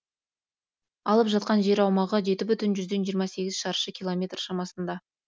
алып жатқан жер аумағы жеті бүтін жүзден жиырма сегіз шаршы километр шамасында